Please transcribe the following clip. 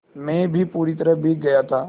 मैं भी पूरी तरह भीग गया था